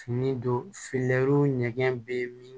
Fini don ɲɛgɛn bɛ min